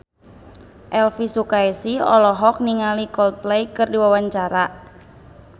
Elvy Sukaesih olohok ningali Coldplay keur diwawancara